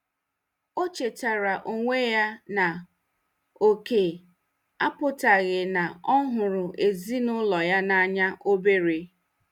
O chetaara onwe ya na oke apụtaghị na ọ hụrụ ezinụlọ ya n'anya obere.